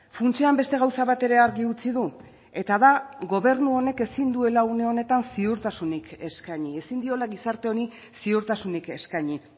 funtsean beste gauza bat ere argi utzi du eta da gobernu honek ezin duela une honetan ziurtasunik eskaini ezin diola gizarte honi ziurtasunik eskaini